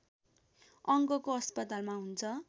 अङ्गको अस्पतालमा हुन्छ